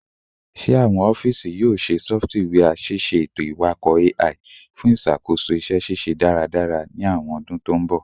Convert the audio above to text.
Ṣe awọn ọfiisi yoo ṣe sọfitiwia ṣiṣe eto-iwakọ AI fun iṣakoso iṣẹ ṣiṣe daradara ni awọn ọdun to n bọ?